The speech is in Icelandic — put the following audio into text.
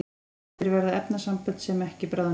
eftir verða efnasambönd sem ekki bráðnuðu